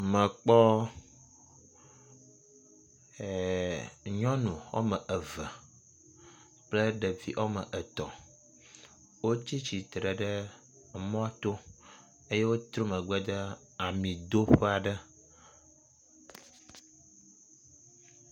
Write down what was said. Mekpɔ e… nyɔnu wɔme eve kple ɖevi wɔme etɔ̃ wotsi tsitre ɖe mɔto eye wotrɔ megbe de amidoƒe aɖe.